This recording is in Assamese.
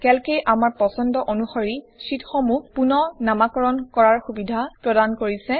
কেল্কে আমাৰ পচণ্ড অনুসৰি শ্বিটসমূহ পুনঃ নামাকৰণ কৰাৰ সুবিধা প্ৰদান কৰিছে